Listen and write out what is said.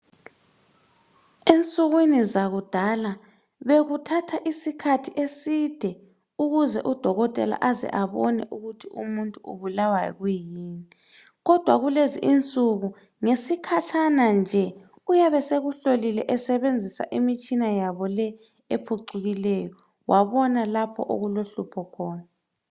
Ensukwini zakudala bekuthatha isikhathi eside ukuze udokotela aze abone ukuthi umuntu ubulawa yikuyini kodwa kulezi insuku ngesikhatshana nje uyabesekuhlolile esebenzisa imitshina yabo le ephucukiley, wabona lapho okulohlupho khona.